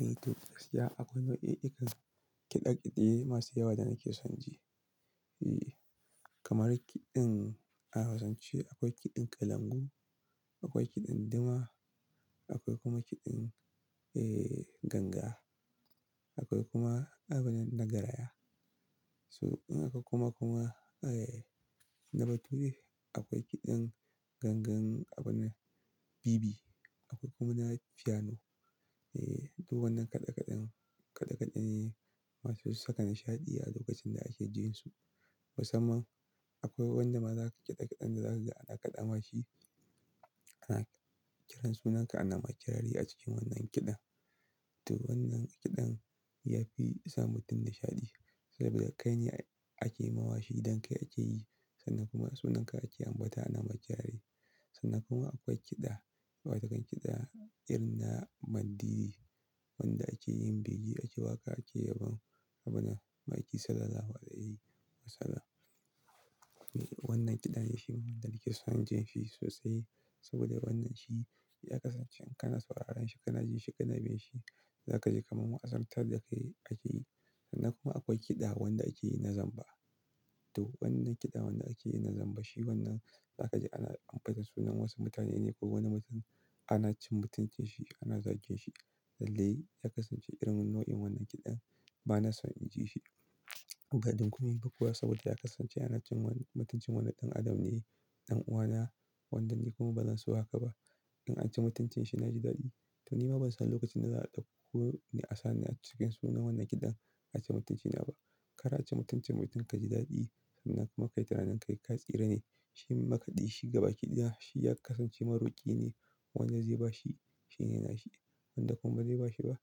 Eh to, gaskiya akwai nau'ikan kiɗa-kiɗe masu yawa da nake son ji. Eh, kamar kiɗin a Hausance akwai kiɗin kalangu, akwai kiɗin duma, akwai kuma kiɗin, eh, ganga. Akwai kuma abunan na garaya. So, in aka kuma, kuma, eh, na bature akwai kiɗan gangan abunan bibi, akwai kuma na fiyano. Eh, duk wannan kaɗe-kaɗen, kaɗe-kaɗe ne masu saka nishaɗi a lokacin da ake jin su. Musamman akwai wanda maza ga kiɗa-kiɗen da za kaga, ana kaɗa ma shi. Ana kiran sunanka ana ma kirari a cikin wannan kiɗan. To wannan kiɗan ya fi sa mutum nishaɗi saboda kai ne ake mawa shi idan kai ake yi sannan kuma sunanka ake ambata ana ma kirari. Sannan kuma akwai kiɗa, wata kan kiɗa irinna mandiri wanda ake yin bige ake waƙa ake yabon abuna, ma'aikin salalahu alaiyi wasalam. Wannan kiɗan ya shi ni, da nake son jin shi sosai saboda wannan shi ya kasance in kana sauraron shi kana jin shi kana bin shi. Za ka ji kamar wa'azantar da kai ake yi. Sannan kuma akwai kiɗa wanda ake yi na zamba. To wannan kiɗan wanda ake yi na zamba shi wannan za ka ji ana ambaton sunan wasu mutane ne ko wani mutum ana cin mutuncin shi, ana zagin shi. Lallai ya kasance irin nau'in wannan kiɗan ba na son in ji shi. Badun komai ba kuwa saboda ya kasance ana cin wani, mutuncin wani ɗan adam ne, ɗan'uwana wanda ni kuma ba zan so haka ba. In an ci mutuncin shi na ji daɗi. To ni ma ban san lokacin da za a ɗauko ni asani a cikin sunan wannan kiɗan a ci mutunci na ba. Kar a ci mutuncin mutum ka ji daɗi. Sannan kuma kai tu nanin kai ka tsire ne. Shi makaɗi shi gaba kiɗaya shi ya kasance maroki ne. Wanda zai bashi shi ne na shi. Wanda kuma ba zai bashi ba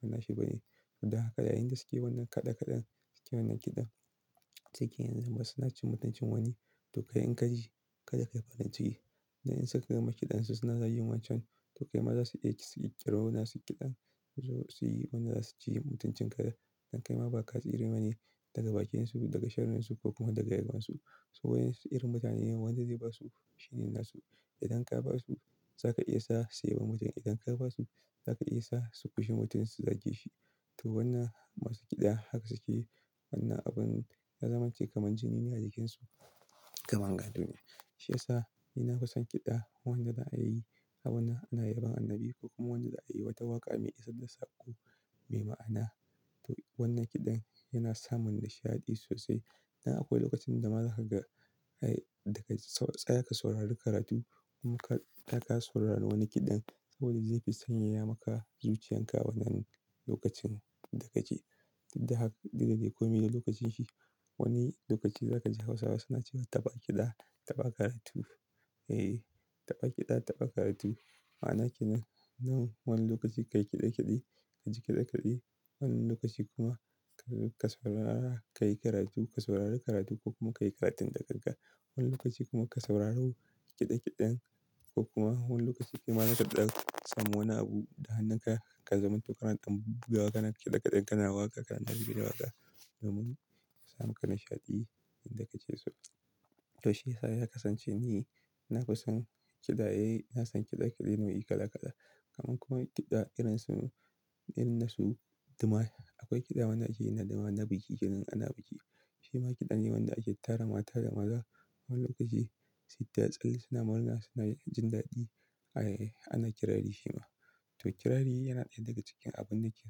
bana shi ba ne. To dan haka, yayinda suke wannan kaɗe-kaɗen suke wannan kiɗan. Cike yanzu ma suna cin mutuncin wani. To kai in ka ji kada ka yi farin ciki. Na in suka gama kiɗan su suna za yi wancan to kai ma za su iya ci su yi ƙiraro na su kiɗan su wanda za su ci mutuncin ka da. Dan kai ma ba ka tsire ma ne daga bakin su, daga sharrin su ko kuma daga yabon su. So wai su irin mutane ne wanda zai ba su shi ne nasu. Idan ka ba su za ka iya sa su yi wa mutum, idan ka ba su za ka iya sa su kushe mutum su zage shi. To wannan masu kiɗa haka suke yi. Wannan abun ya zamance kamar jini ne a jikinsu, kamar nga duniya. Shi yasa ni na fison kiɗa wanda za a yi abona ana yabon annabi ko kuma wanda za a yi wata waƙa mai isar da saƙo mai ma'ana. To wannan kiɗan yana sa mun nishaɗi sosai. Na akwai lokacin da ma za ka ga, ai daga tsa-tsa ka saurari karatu kuma ka, da ka saurari wani kiɗan saboda zai fi sanyaya maka zuciyan ka wannan lokacin da ka ji. To haka daga dai komi da lokacin shi. Wani lokaci za ka ji Hausawa suna cewa "Taɓa kiɗa taɓa karatu." Eh, taɓa kiɗa taɓa karatu. Ma'ana kenan, nan wani lokaci ka yi kiɗa-kiɗi, ka ji kiɗa-kiɗi. Wani lokaci kuma ka saurara, ka yi karatu, ka saurari karatu ko kuma ka yi karatun da gangan. Wani lokaci kuma ka sauraru kiɗa-kiɗen. Ko kuma wani lokaci kuma naka ɗaga samu wani abu da hannun ka ka zama tokaran ɗan buga waƙa naka kiɗa-kiɗen kana waƙa kana ɗabi'in waƙa domin ya sa muka nishaɗi inda ka ke so. To shi yasa ya kasance ni na fison kiɗa, eh na san kiɗa kiɗaye nau'i kala kala. Kaman kuma kiɗa irin su, irin na su duma. Akwai kiɗa wanda ake yi na duma, na biki idan ana biki. Shi ma kiɗa ne wanda ake tara mata da maza wani lokaci su yi tatsalle suna murna suna jin daɗi. Ai, ana kirari shi ma. To kirari yana ɗaya daga cikin abun da ke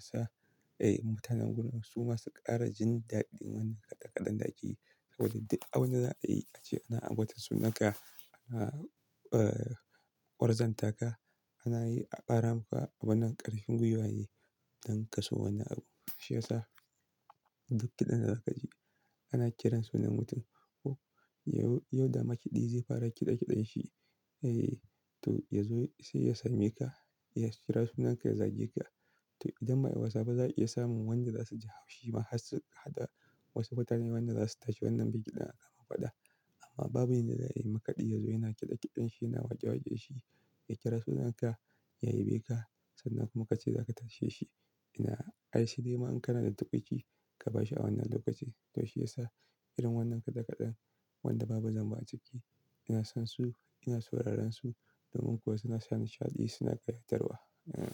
sa, eh, mutanen gurin su masu ƙara jin daɗin wannan kaɗe-kaɗen da ake yi saboda duk abin da za a yi ake yi ana ambaton sunanka, ana, eh, ƙwarzanta ka. Ana yi a ƙara maka abunan ƙarfin gwiwa ne don ka so wannan abu. Shi yasa duk kiɗan da za ka ji ana kiran sunan mutum. Oh, yau, yau da makaɗi zai fara kiɗa-kiɗen shi, eh, to ya zo sai ya same ka, ya kira sunanka ya zage ka. To idan ma ai wasa ba za a iya sa mun wanda za su ji haushi ma har su, har wasu mutane wanda za su tashi wannan biki da na kama faɗa. Amma babu inda yayi makaɗi ya zo yana kiɗa-kiɗan shi yana waƙe-waƙe shi ya kira sunanka ya ya beka sannan kuma ka ce za ka tashe shi. Ina, ai shi dai ma in kana da tuƙuici ka bashi a wannan lokaci. To shi yasa irin wannan kaɗe-kaɗen wanda babu zamba a ciki ina son su, ina sauraron su domin kuwa suna sa nishaɗi suna ƙayatarwa. Eh.